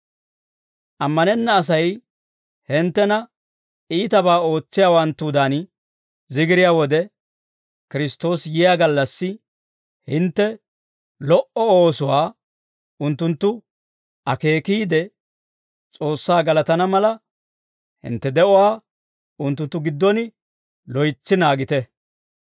Amanenna Asay hinttena iitabaa ootsiyaawanttudan zigiriyaa wode, Kiristtoosi yiyaa gallassi hintte lo"o oosuwaa unttunttu akeekiide, S'oossaa galatana mala, hintte de'uwaa unttunttu giddon loytsi naagite.